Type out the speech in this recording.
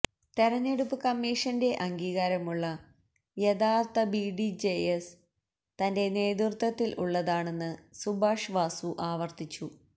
തെരഞ്ഞെടുപ്പ് കമ്മീഷന്റെ അംഗീകാരമുള്ള യഥാര്ത്ഥ ബിഡിജെഎസ് തന്റെ നേതൃത്വത്തില് ഉള്ളതാണെന്ന് സുഭാഷ് വാസു ആവര്ത്തിച്ചു